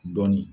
Dɔɔnin